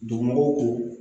Dugu mɔgɔw ko